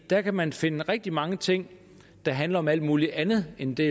der kan man finde rigtig mange ting der handler om alt mulig andet end det